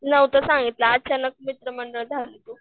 नव्हतं सांगितलं अचानक झाली तू.